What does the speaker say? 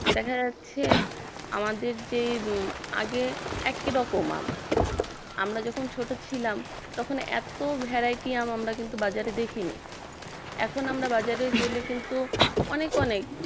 দেখা যাচ্ছে আমাদের যে আগে একই রকমের আম আমরা যখন ছোট ছিলাম তখন এত variety রকমের আম কিন্তু আমরা বাজারে দেখিনি এখন আমরা বাজারে গেলে কিন্তু অনেক অনেক